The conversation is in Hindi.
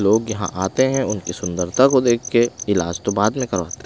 लोग यहाँ आते हैं उनकी सुंदरता को देख के इलाज तो बाद में करवाते हैं।